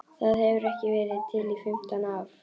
Það hefur ekki verið til í fimmtán ár!